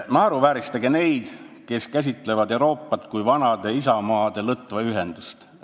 "Naeruvääristage neid, kes käsitlevad Euroopat kui vanade isamaade lõtva ühendust.